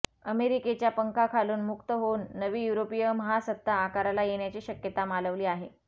अमेरिकेच्या पंखाखालून मुक्त होऊन नवी युरोपीय महासत्ता आकाराला येण्याची शक्यता मालवली आहे